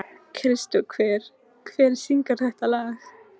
Kristófer, hver syngur þetta lag?